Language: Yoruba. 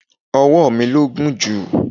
Ọwọ mi ló gùn jù.